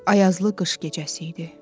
Ayazlı qış gecəsi idi.